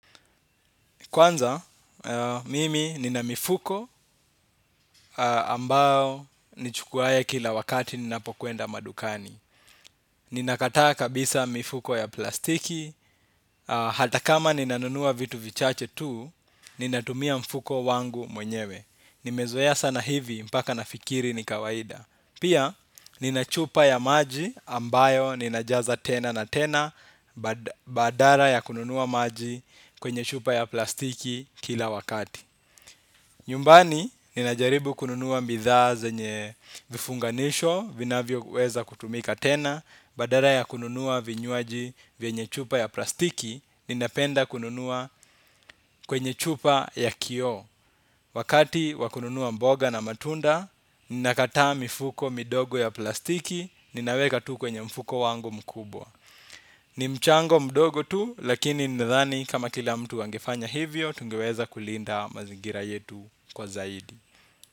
Kwanza, mimi nina mifuko ambao nichukuaye kila wakati ninapokwenda madukani. Ninakataa kabisa mifuko ya plastiki. Hata kama ninanunua vitu vichache tu, ninatumia mfuko wangu mwenyewe. Nimezoea sana hivi mpaka nafikiri ni kawaida. Pia, nina chupa ya maji ambayo ninajaza tena na tena badara ya kununuwa maji kwenye chupa ya plastiki kila wakati. Nyumbani, ninajaribu kununuwa mbithaa zenye vifunganisho, vinavyoweza kutumika tena, badara ya kununuwa vinywaji vyenye chupa ya plastiki, ninapenda kununuwa kwenye chupa ya kio. Wakati wa kununuwa mboga na matunda, ninakataa mifuko midogo ya plastiki, ninaweka tu kwenye mfuko wangu mkubwa. Ni mchango mdogo tu, lakini nadhani kama kila mtu angefanya hivyo, tungeweza kulinda mazingira yetu kwa zaidi.